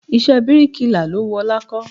Iṣẹ́ bíríkilà lo wù ọlá kó.